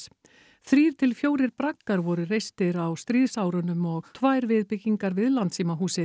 þrír til fjórir braggar voru reistir á stríðsárunum og tvær viðbyggingar við